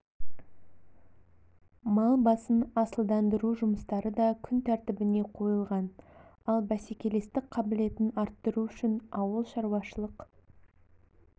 мал басын асылдандыру жұмыстары да күн тәртібіне қойылған ал бәсекелестік қабілетін арттыру үшін ауыл шаруашылық